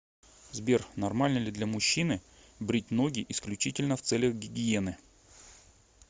сбер нормально ли для мужчины брить ноги исключительно в целях гигиены